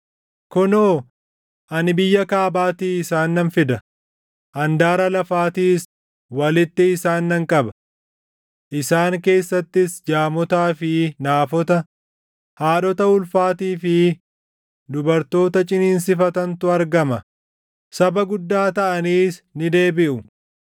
Kunoo, ani biyya kaabaatii isaan nan fida; handaara lafaatiis walitti isaan nan qaba. Isaan keessattis jaamotaa fi naafota, haadhota ulfaatii fi dubartoota ciniinsifatantu argama; saba guddaa taʼaniis ni deebiʼu.